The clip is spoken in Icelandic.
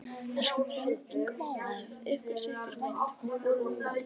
Það skiptir engu máli ef ykkur þykir vænt hvoru um annað.